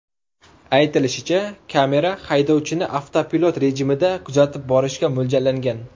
Aytilishicha, kamera haydovchini avtopilot rejimida kuzatib borishga mo‘ljallangan.